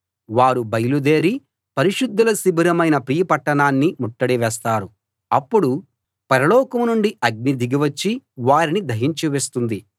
వారు బయలు దేరి పరిశుద్ధుల శిబిరమైన ప్రియ పట్టణాన్ని ముట్టడి వేస్తారు అప్పుడు పరలోకం నుండి అగ్ని దిగి వచ్చి వారిని దహించి వేస్తుంది